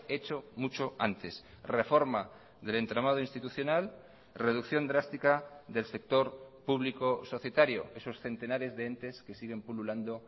hecho mucho antes reforma del entramado institucional reducción drástica del sector público societario esos centenares de entes que siguen pululando